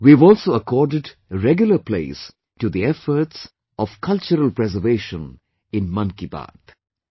We have also accorded regular place to the efforts of Cultural Preservation in 'Mann Ki Baat'